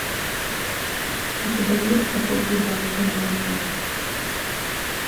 у тебя есть как выйти замуж за миллионера